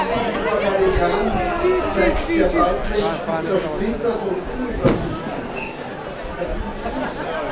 Dieses Organigramm zeigt sehr deutlich, wie zersplittert und unübersichtlich der Dienst ist.